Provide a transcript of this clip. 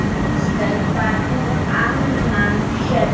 Einstök var hún amma Sjöfn.